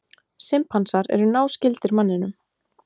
Simpansar eru náskyldir manninum.